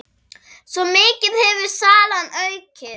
Svo mikið hefur salan aukist.